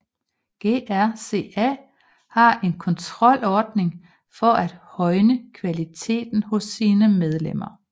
GRCA har en kontrolordning for at højne kvaliteten hos sine medlemmer